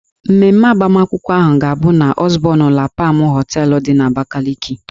Mmemme agbamakwụkwọ ahụ ga-abụ n' Ọzbọn La Pam họteelụ dị n'Abakaliki.